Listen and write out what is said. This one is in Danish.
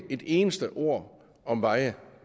et eneste ord om veje